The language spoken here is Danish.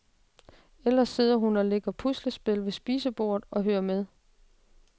Ellers sidder hun og lægger et puslespil ved spisebordet og hører med.